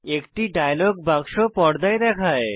একটি ডায়লগ বাক্স পর্দায় দেখায়